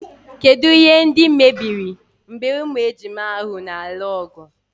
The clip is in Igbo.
Kedụ ihe ndị mebiri mgbe ụmụ ejima ahụ na-alụ ọgụ.